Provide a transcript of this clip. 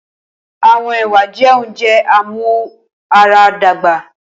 Awọn ewa jẹ ounjẹ amuaradagba.